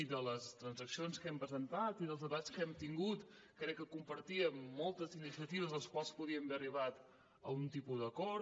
i de les transaccions que hem presentat i dels debats que hem tingut crec que compartíem moltes iniciatives en les quals podíem haver arribat a algun tipus d’acord